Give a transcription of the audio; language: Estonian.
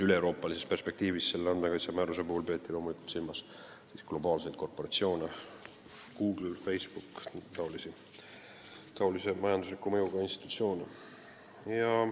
Üleeuroopalises perspektiivis on andmekaitsemäärusega loomulikult silmas peetud globaalseid korporatsioone .